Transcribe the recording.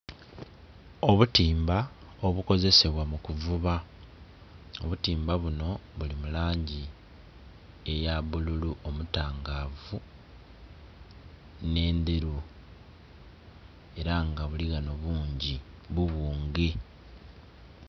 Obutimba obukozesebwa mu kuvuba, obutimba bunho bili mu langi eya bbululu omutangaavu nhe endheru era nga buli ghanho bungi bubunge.